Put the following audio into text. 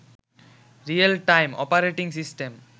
real time operating system